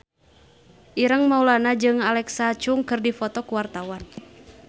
Ireng Maulana jeung Alexa Chung keur dipoto ku wartawan